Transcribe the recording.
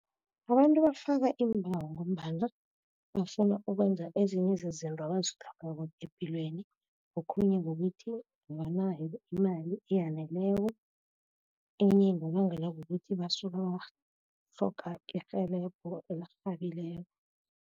Abantu bafaka iimbawo ngombana bafuna ukwenza ezinye zezinto abazitlhogako epilweni. Okhunye kukuthi abanayo imali eyaneleko, enye kubangelwa kukuthi basuke batlhoga irhelebho elirhabileko.